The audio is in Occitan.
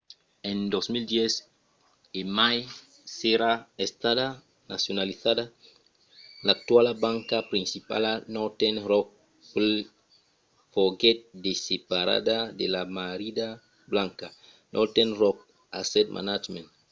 en 2010 e mai s'èra estada nacionalizada l'actuala banca principala northern rock plc foguèt desseparada de la ‘marrida banca’ northern rock asset management